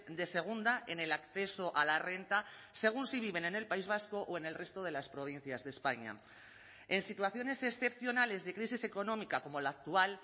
de segunda en el acceso a la renta según si viven en el país vasco o en el resto de las provincias de españa en situaciones excepcionales de crisis económica como la actual